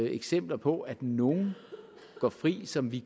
eksempler på at nogle går fri som vi